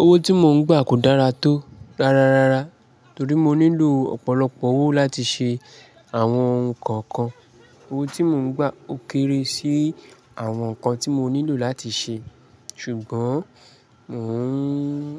Owó tí mò ń gbà kò dára tó rárarára torí mó nílò ọ̀pọ̀lọpọ̀ owó láti ṣe àwọn nǹkan kan. Owó tí mò ń gbà ó kéré sí àwọn nǹkan tí mó nílò láti ṣe ṣùgbọ́n mò ń